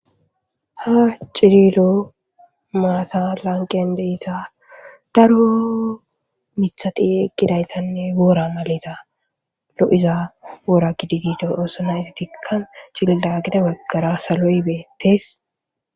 Ha cililo maata lanqende iza daro mithati egidaytanne boora maliza lo7iza woora gididido oosona izi tikkan cilidagida waggara salo7i beettes.